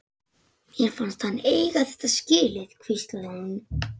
Mér fannst hann eiga þetta skilið- hvíslaði hún.